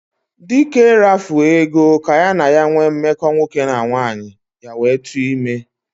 Dike rafuo Ego ka ya na ya nwee mmeko nwoke na nwaanyi ya wee tu ime.